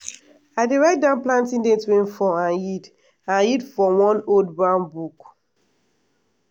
i dey write down planting date rainfall and yield and yield for one old brown book.